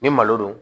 Ni malo don